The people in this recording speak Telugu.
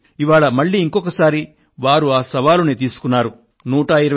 ఇవాళ మళ్ళీ ఇంకొక సారి వారు ఆ సవాలును స్వీకరించారు